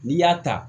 N'i y'a ta